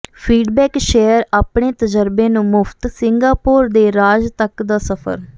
feedback share ਆਪਣੇ ਤਜਰਬੇ ਨੂੰ ਮੁਫ਼ਤ ਸਿੰਗਾਪੋਰ ਦੇ ਰਾਜ ਤੱਕ ਦਾ ਸਫਰ